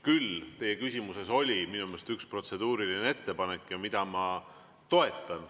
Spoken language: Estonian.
Küll oli teie küsimuses minu meelest üks protseduuriline ettepanek, mida ma toetan.